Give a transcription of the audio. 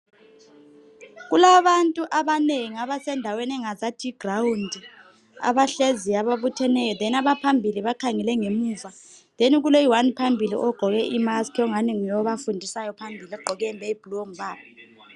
Kulabantu abanengi abasendaweni engazathi yiground abahleziyo ababutheneyo then abaphambili bakhangele ngemuva then kuloyi one phambili ogqoke imask ongani nguye obafundisayo ogqoke iyembe eyibhulu ongubaba.